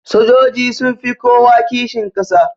Sojoji sunfi kowa kishin kasa